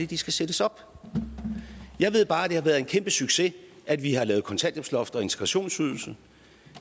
de skal sættes op jeg ved bare at det har været en kæmpesucces at vi har lavet kontanthjælpsloft og integrationsydelse